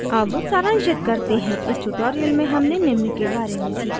अब सारांशित करते हैं इस tutorial में हमने निम्न के बारे में सीखा